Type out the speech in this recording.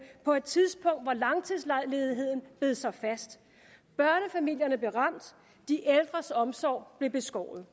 på et tidspunkt hvor langtidsledigheden bed sig fast børnefamilierne blev ramt de ældres omsorg blev beskåret